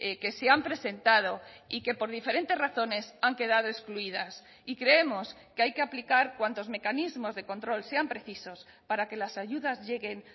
que se han presentado y que por diferentes razones han quedado excluidas y creemos que hay que aplicar cuantos mecanismos de control sean precisos para que las ayudas lleguen